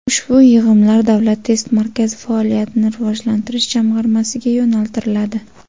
Ushbu yig‘imlar Davlat test markazi faoliyatini rivojlantirish jamg‘armasiga yo‘naltiriladi.